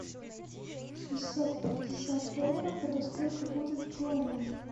шестьсот пятьдесят долларов это сколько будет в гуарани